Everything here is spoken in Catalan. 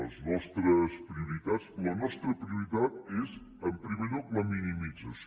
les nostres prioritats la nostra prioritat és en primer lloc la minimització